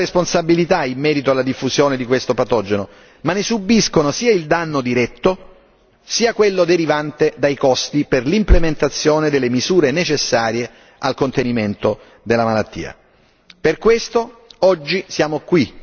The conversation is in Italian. Gli agricoltori, dal canto loro, non hanno responsabilità in merito alla diffusione di questo patogeno, ma ne subiscono sia il danno diretto sia quello derivante dai costi per l'implementazione delle misure necessarie al contenimento della malattia.